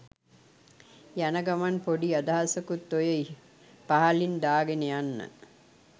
යන ගමන් පොඩි අදහසකුත් ඔය පහළින් දාගෙන යන්න.